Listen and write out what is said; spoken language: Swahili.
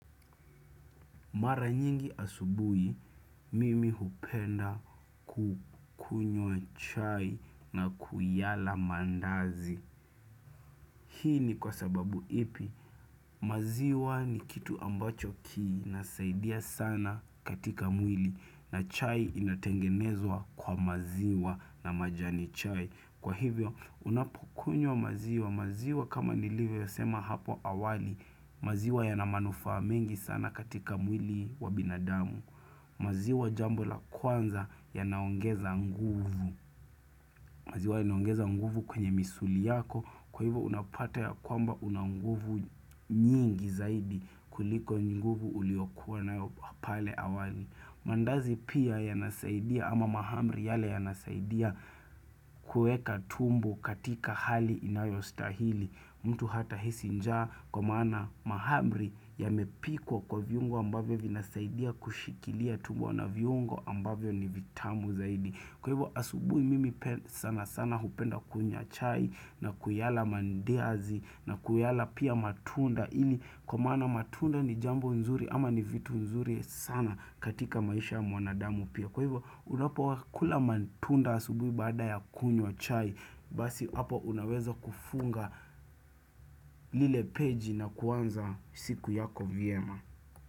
Mara nyingi asubuhi, mimi hupenda kukunywa chai na kuyala maandazi. Hii ni kwa sababu ipi?, maziwa ni kitu ambacho kinasaidia sana katika mwili na chai inatengenezwa kwa maziwa na majani chai. Kwa hivyo, unapokunywa maziwa, maziwa kama nilivyosema hapo awali, maziwa yana manufaa mingi sana katika mwili wa binadamu. Maziwa jambo la kwanza yanaongeza nguvu, maziwa yanaongeza nguvu kwenye misuli yako, kwa hivyo unapata ya kwamba una nguvu nyingi zaidi kuliko nguvu uliokua nayo pale awali. Maandazi pia yanasaidia ama mahamri yale yanasaidia kueka tumbo katika hali inayostahili. Mtu hatahisi njaa kwa maana mahamri yamepikwa kwa viungo ambavyo vinasaidia kushikilia tumbo na viungo ambavyo ni vitamu zaidi. Kwa hivyo asubuhi mimi sana sana hupenda kunywa chai na kuyala maandazi na kuyala pia matunda ili kwa maana matunda ni jambo nzuri ama ni vitu nzuri sana katika maisha ya mwanadamu pia. Kwa hivyo unapokula matunda asubuhi baada ya kunywa chai basi hapo unaweza kufunga lile peji na kuanza siku yako vyema.